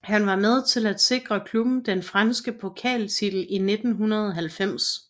Han var med til at sikre klubben den franske pokaltitel i 1990